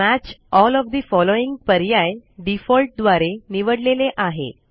match all of the following पर्याय default द्वारे निवडलेले आहे